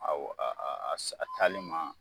Awɔ a a taali ma